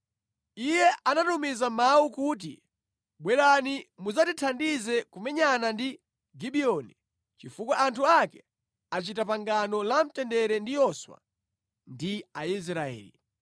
Iye anatumiza mawu kuti, “Bwerani mudzandithandize kumenyana ndi Gibiyoni, chifukwa anthu ake achita pangano la mtendere ndi Yoswa ndi Aisraeli.”